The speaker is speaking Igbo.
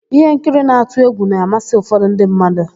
Íhénkiri na-atụ égwù na-amasị ụfọdụ ndị mmadụ.